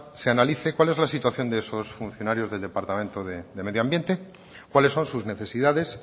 se analice cuál es la situación de esos funcionario del departamento de medio ambiente cuáles son sus necesidades